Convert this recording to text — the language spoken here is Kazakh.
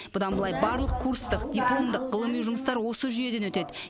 бұдан былай барлық курстық дипломдық ғылыми жұмыстар осы жүйеден өтеді